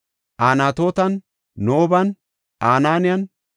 Anatootan, Nooban, Ananiyan,